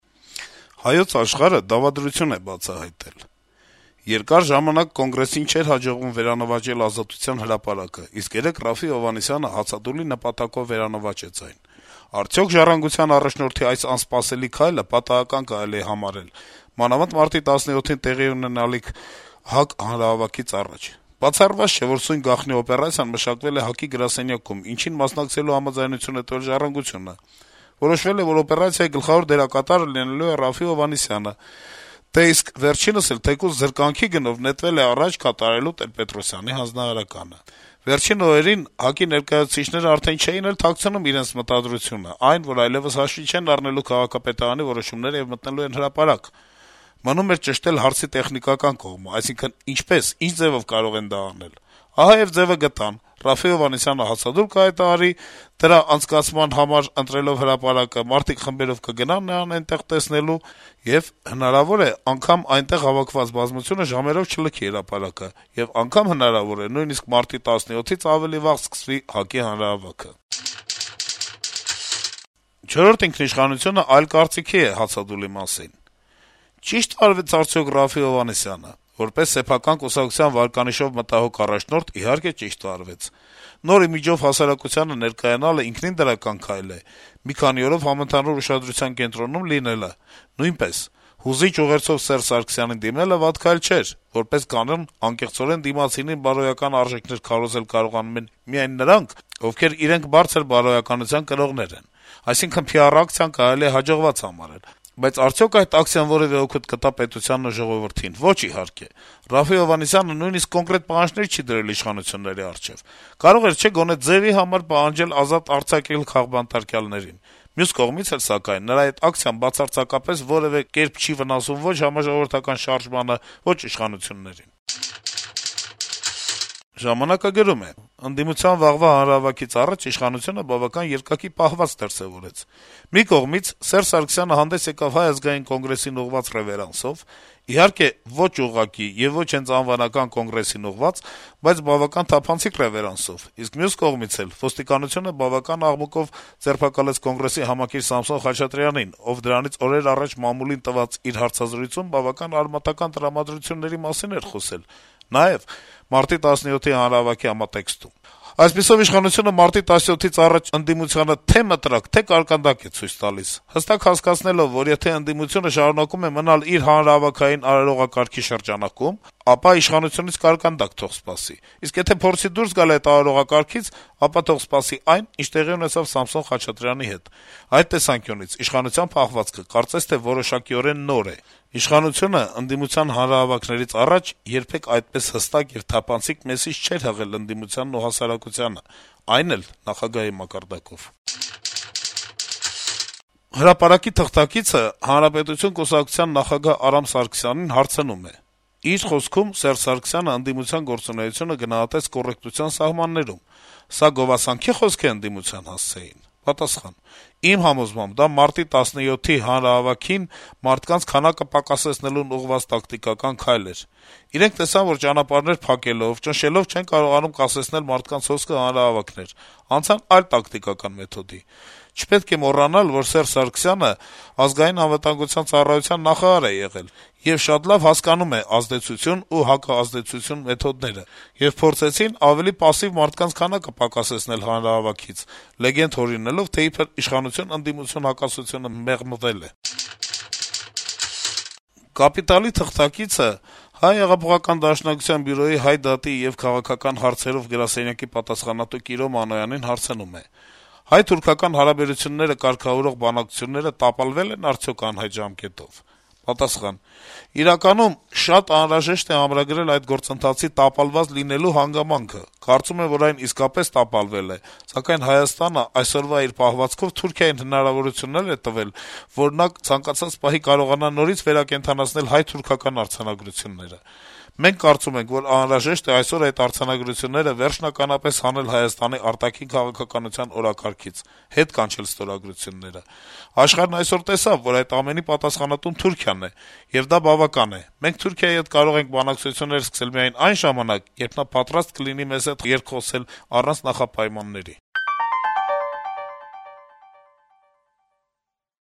«Հայոց Աշխարհ»-ը դավադրություն է բացահայտել. - «Երկար ժամանակ ՀԱԿ-ին չէր հաջողվում վերանվաճել Ազատության հրապարակը, իսկ երեկ Րաֆֆի Հովհաննիսյանը հացադուլի նպատակով վերանվաճեց այն: Արդյո՞ք «Ժառանգության» առաջնորդի այս «անսպասելի» քայլը պատահական կարելի է համարել, մանավանդ մարտի 17-ին տեղի ունենալիք ՀԱԿ-ի հանրահավաքից առաջ: Բացառված չէ, որ սույն գաղտնի օպերացիան մշակվել է ՀԱԿ-ի գրասենյակում, ինչին մասնակցելու համաձայնություն է տվել «Ժառանգությունը»: Որոշվել է, որ օպերացիայի գլխավոր դերակատարը լինելու է Րաֆֆի Հովհաննիսյանը, դե իսկ վերջինս էլ թեկուզ «զրկանքի գնով» նետվել է առաջ` կատարելու Տեր-Պետրոսյանի հանձնարարականը: Վերջին օրերին ՀԱԿ-ի ներկայացուցիչները արդեն չէին էլ թաքցնում իրենց մտադրությունը: Այն, որ այլեւս հաշվի չեն առնելու քաղաքապետարանի որոշումները եւ մտնելու են հրապարակ: Մնում էր ճշտել հարցի «տեխնիկական կողմը», այսինքն՝ ինչպես, ինչ ձեւով կարող են դա անել: Ահա եւ ձեւը գտան. Րաֆֆի Հովհաննիսյանը հացադուլ կհայտարարի` դրա անցկացման համար ընտրելով հրապարակը, մարդիկ խմբերով կգնան նրան տեսնելու եւ... հնարավոր է անգամ այնտեղ հավաքված բազմությունը ժամերով չլքի հրապարակը, եւ անգամ հնարավոր է նույնիսկ մարտի 17-ից ավելի վաղ սկսվի ՀԱԿ-ի հանրահավաքը»: «Չորրորդ ինքնիշխանություն»-ը այլ կարծիքի է հացադուլի մասին. - «Ճի՞շտ վարվեց արդյոք Րաֆֆի Հովհաննիսյանը: Որպես սեփական կուսակցության վարկանիշով մտահոգ առաջնորդ` իհարկե ճիշտ վարվեց: Նոր իմիջով հասարակությանը ներկայանալը, իհարկե, ճիշտ քայլ է, մի քանի օրով համընդհանուր ուշադրության կենտրոնում լինելը` նույնպես, հուզիչ ուղերձով Սերժ Սարգսյանին դիմելը վատ քայլ չէր (որպես կանոն` անկեղծորեն դիմացինին բարոյական արժեքներ քարոզել կարողանում են միայն նրանք, ովքեր իրենք բարձր բարոյականության կրողներ են): Այսինքն` PR ակցիան կարելի է հաջողված համարել: Բայց արդյո՞ք այդ ակցիան որեւէ օգուտ կտա պետությանն ու ժողովրդին: Ո'չ, իհարկե: Րաֆֆի Հովհաննիսյանը նույնիսկ կոնկրետ պահանջներ չի դրել իշխանությունների առջեւ: Կարող էր, չէ՞, գոնե ձեւի համար պահանջել ազատ արձակել քաղբանտարկյալներին: Մյուս կողմից էլ, սակայն, նրա այդ ակցիան բացարձակապես որեւէ կերպ չի վնասում ո'չ համաժողովրդական շարժմանը, ո'չ իշխանություններին»: «Ժամանակ»-ը գրում է. - «Ընդդիմության վաղվա հանրահավաքից առաջ իշխանությունը բավական երկակի պահվածք դրսեւորեց: Մի կողմից` Սերժ Սարգսյանը հանդես եկավ Հայ ազգային կոնգրեսին ուղղված ռեւերանսով, իհարկե` ոչ ուղղակի եւ ոչ հենց անվանական Կոնգրեսին ուղղված, բայց բավական թափանցիկ ռեւերանսով, իսկ մյուս կողմից էլ` ոստիկանությունը բավական աղմուկով ձերբակալեց Կոնգրեսի համակիր Սամսոն Խաչատրյանին, ով դրանից օրեր առաջ մամուլին տված իր հարցազրույցում բավական արմատական տրամադրությունների մասին էր խոսել, նաեւ մարտի 17-ի հանրահավաքի համատեքստում: Այդպիսով, իշխանությունը մարտի 17-ից առաջ ընդդիմությանը թե՛ մտրակ, թե՛ կարկանդակ է ցույց տալիս` հստակ հասկացնելով, որ եթե ընդդիմությունը շարունակում է մնալ իր հանրահավաքային արարողակարգի շրջանակում, ապա իշխանությունից կարկանդակ թող սպասի, իսկ եթե փորձի դուրս գալ այդ արարողակարգից, ապա թող սպասի այն, ինչ տեղի ունեցավ Սամսոն Խաչատրյանի հետ: Այդ տեսանկյունից իշխանության պահվածքը կարծես թե որոշակիորեն նոր է: Իշխանությունն ընդդիմության հանրահավաքներից առաջ երբեք այդպես հստակ եւ թափանցիկ մեսիջ չի հղել ընդդիմությանն ու հասարակությանը, այն էլ` նախագահի մակարդակով»: «Հրապարակ»-ի թղթակիցը «Հանրապետություն» կուսակցության նախագահ Արամ Սարգսյանին հարցնում է. -« Իր խոսքում Սերժ Սարգսյանը ընդդիմության գործունեությունը գնահատեց «կոռեկտության սահմաններում»: Սա գովասանքի՞ խոսք էր ընդդիմության հասցեին»: Սարգսյանը պատասխանում է. - «Իմ համոզմամբ՝ դա մարտի 17-ի հանրահավաքին մարդկանց քանակը պակասեցնելուն ուղղված տակտիկական քայլ էր: Իրենք տեսան, որ ճանապարհներ փակելով, ճնշելով չեն կարողանում կասեցնել մարդկանց հոսքը հանրահավաքներ, անցան այլ տակտիկական մեթոդի: Չպետք է մոռանալ, որ Սերժ Սարգսյանն ԱԱԾ նախարար է եղել ու շատ լավ հասկանում է «ազդեցություն» ու «հակազդեցություն» մեթոդները: Եվ փորձեցին ավելի պասիվ մարդկանց քանակը պակասեցնել հանրահավաքից՝ լեգենդ հորինելով, թե իբր իշխանություն-ընդդիմություն հակասությունը մեղմվել է»: «Կապիտալ»-ի թղթակիցը Դաշնակության Բյուրոյի Հայ դատի եւ քաղաքական հարցերի գրասենյակի պատասխանատու Կիրո Մանոյանին հարցնում է. -« Հայ-թուրքական հարաբերությունները կարգավորող բանակցությունները տապալվե՞լ են արդյոք անհայտ ժամկետով» Մանոյանը պատասխանում է. - «Իրականում շատ անհրաժեշտ է ամրագրել այդ գործընթացի տապալված լինելու հանգամանքը։ Կարծում եմ, որ այն իսկապես տապալվել է, սակայն Հայաստանն այսօրվա իր պահվածքով Թուրքիային հնարավորություններ է տվել, որ նա ցանկացած պահի կարողանա նորից վերակենդանացնել հայ-թուրքական արձանագրությունները։ Նույնիսկ վերջերս Վիեննայում Հայաստանի արտգործնախարարը հույս է հայտնել, որ մի օր այդ արձանագրությունները կվավերացվեն։ Մենք կարծում ենք, որ անհրաժեշտ է այսօր այդ արձանագրությունները վերջնականապես հանել Հայաստանի արտաքին քաղաքականության օրակարգից՝ հետ կանչել ստորագրությունները։ Աշխարհն այսօր տեսավ, որ այդ ամենի պատասխանատուն Թուրքիան է, և դա բավական է։ Մենք Թուրքիայի հետ կարող ենք բանակցություններ սկսել միայն այն ժամանակ, երբ նա պատրաստ կլինի մեզ հետ երկխոսել առանց նախապայմանների»: